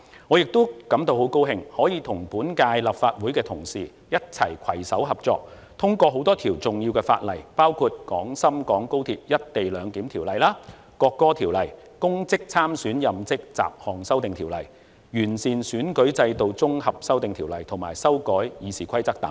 我亦很高興可以與本屆建制派同事攜手合作，通過多項重要的法例，包括《廣深港高鐵條例》、《國歌條例》、《2021年公職條例》、《2021年完善選舉制度條例》以及修改《議事規則》等。